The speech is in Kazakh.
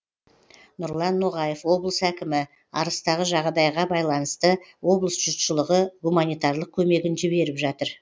нұрлан ноғаев облыс әкімі арыстағы жағадайға байланысты облыс жұртшылығы гуманитарлық көмегін жіберіп жатыр